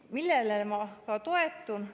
Millele ma toetun?